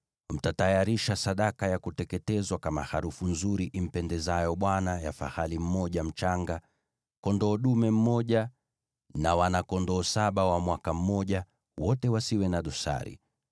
Mtatayarisha sadaka ya kuteketezwa kama harufu nzuri impendezayo Bwana ya fahali mmoja mchanga, kondoo dume mmoja, na wana-kondoo saba wa mwaka mmoja, wote wasio na dosari.